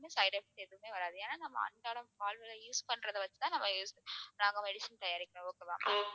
side effect எதுவுமே வராது ஏன்னா நம்ம அன்றாடம் வாழ்வியல்ல use பண்றதை வச்சுதான் நம்ம நாங்க medicine தயாரிக்கிறோம் okay வா